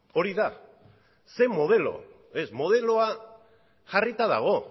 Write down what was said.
hori da zein modelo ez modeloa jarrita dago